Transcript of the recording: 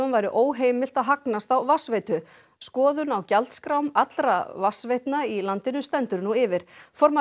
væri óheimilt að hagnast á vatnsveitu skoðun á gjaldskrám allra vatnsveitna í landinu stendur nú yfir formaður